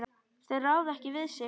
Þeir ráða ekki við sig.